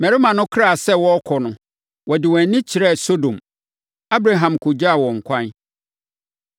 Mmarima no kraa sɛ wɔrekɔ no, wɔde wɔn ani kyerɛɛ Sodom. Abraham kɔgyaa wɔn kwan.